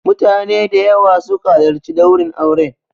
Mutane da yawa su ka halarci ɗaurin auren.